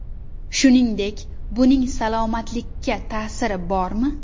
Shuningdek, buning salomatlikka ta’siri bormi?